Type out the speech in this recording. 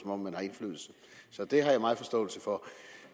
om man har indflydelse så det har jeg meget forståelse for